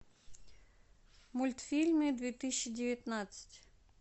мультфильмы две тысячи девятнадцать